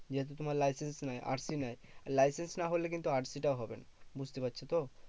যেহেতু তোমার licence নেই RC নেই। licence নাহলে কিন্তু RC টা হবে না, বুঝতে পারছো তো?